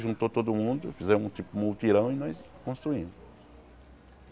Juntou todo mundo, fizemos tipo um mutirão e nós construímos.